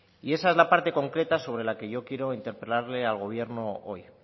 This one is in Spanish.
y esa es la parte concreta sobre la que yo quiero interpelarle al gobierno hoy